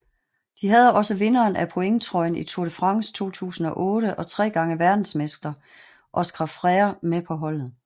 De havde også vinderen af pointtrøjen i Tour de France 2008 og tre gange verdensmester Óscar Freire med på holdet